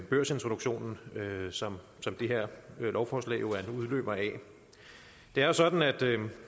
børsintroduktionen som det her lovforslag er en udløber af det er jo sådan at